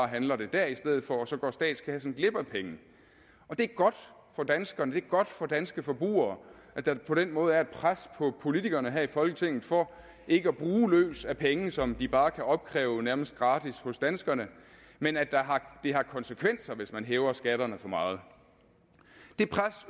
handler dér i stedet for og så går statskassen glip af pengene det er godt for danskerne det er godt for de danske forbrugere at der på den måde er et pres på politikerne her i folketinget for ikke at bruge løs af penge som de bare kan opkræve nærmest gratis hos danskerne men at det har konsekvenser hvis man hæver skatterne for meget det pres